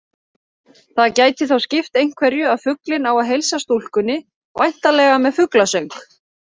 Það gæti þó skipt einhverju að fuglinn á að heilsa stúlkunni, væntanlega með fuglasöng.